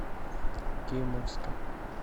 кимовска